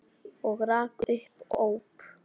Og rak upp óp.